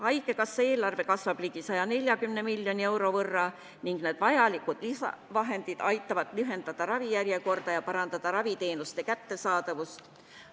Haigekassa eelarve kasvab ligi 140 miljoni euro võrra ning need vajalikud lisavahendid aitavad lühendada ravijärjekorda ja parandada raviteenuste kättesaadavust.